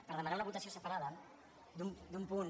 per demanar una votació separada d’un punt